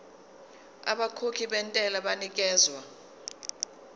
abakhokhi bentela banikezwa